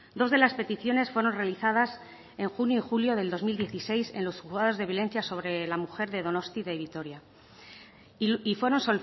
dos de las peticiones fueron realizadas en junio y julio del dos mil dieciséis en los juzgados de violencia sobre la mujer de donostia y de vitoria y fueron